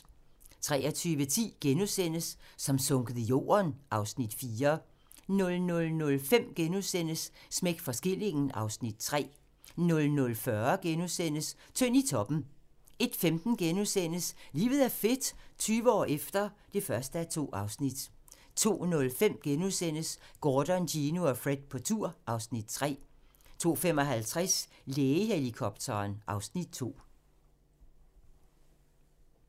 23:10: Som sunket i jorden (Afs. 4)* 00:05: Smæk for skillingen (Afs. 3)* 00:40: Tynd i toppen * 01:15: Livet er fedt - 20 år efter (1:2)* 02:05: Gordon, Gino og Fred på tur (Afs. 3)* 02:55: Lægehelikopteren (Afs. 2)